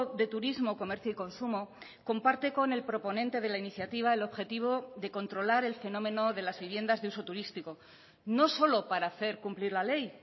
de turismo comercio y consumo comparte con el proponente de la iniciativa el objetivo de controlar el fenómeno de las viviendas de uso turístico no solo para hacer cumplir la ley